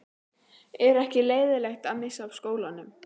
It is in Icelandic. Er ekki leiðinlegt að missa af skólanum?